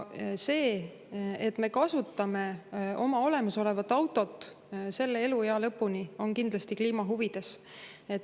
See, et me kasutame oma olemasolevat autot selle eluea lõpuni, on kindlasti kliima huvides.